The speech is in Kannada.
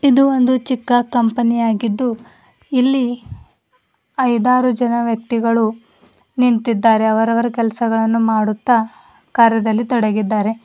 ಇದು ಒಂದು ಚಿಕ್ಕ್ ಕಂಪನಿ ಆಗಿದ್ದು ಇಲ್ಲಿ ಐದಾರು ಜನ ವ್ಯಕ್ತಿಗಳು ನಿಂತಿದ್ದಾರೆ ಅವರವರ ಕೆಲಸಗಳನ್ನು ಮಾಡುತ್ತಾ ಕಾರ್ಯದಲ್ಲಿ ತೊಡಗಿದ್ದಾರೆ.